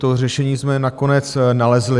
To řešení jsme nakonec nalezli.